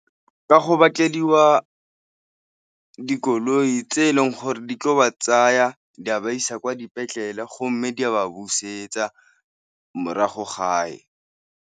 Ka go dikoloi tse e leng gore di tlo ba tsaya di a ba isa kwa dipetlele, go mme di a ba busetsa morago gae.